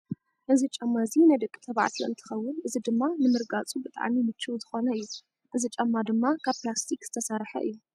እዚ ጫማ እዚ ናይ ደቂ ተባዕዮ እንትከውን እዚ ድማ ንምርጋፁ ብጣዕሚ ምቹው ዝኮነ እዩ። እዚ ጫማ ድማ ካብ ፕላስቲክ ዝተሰርሐ እዩ።